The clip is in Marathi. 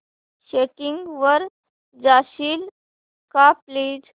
सेटिंग्स वर जाशील का प्लीज